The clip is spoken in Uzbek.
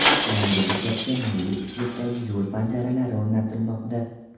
Yangi bekatga milliy uslubdagi yo‘l panjaralari o‘rnatilmoqda.